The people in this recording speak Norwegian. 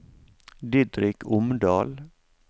Didrik Omdal